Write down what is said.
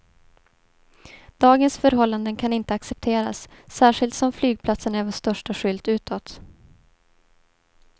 Dagens förhållanden kan inte accepteras, särskilt som flygplatsen är vår första skylt utåt.